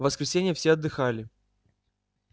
в воскресенье все отдыхали